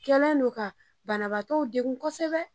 Kɛlen don ka banabaatɔw degun kosɛbɛ.